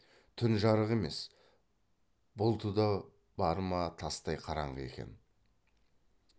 түн жарық емес бұлты да бар ма тастай қараңғы екен